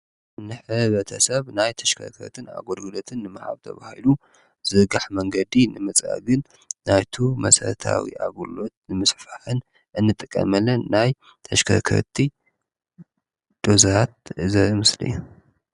ንሕብረተሰብ ናይ ተሽከርከርትን ኣግልግሎትን ንምሃብ ተባሂሉ ዝርገሐ መንገዲ ንምፅራግን ናይቱ መሰረታዊ ኣገልግሎት ንምስፍሕፋን እንጥቀመለን ናይ ተሽከርከርቲ ደዘራት ዘርኢ ምስሊ እዩ።